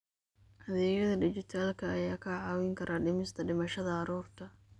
Adeegyada dijitaalka ah ayaa kaa caawin kara dhimista dhimashada carruurta.